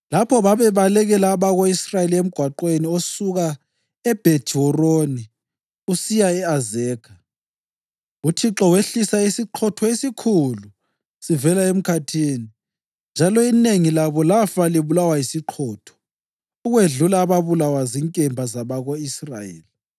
Lapho bebalekela abako-Israyeli emgwaqweni osuka eBhethi-Horoni usiya e-Azekha, uThixo wehlisa isiqhotho esikhulu sivela emkhathini, njalo inengi labo lafa libulawa yisiqhotho ukwedlula ababulawa zinkemba zabako-Israyeli.